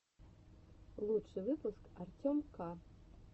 лучший выпуск артем к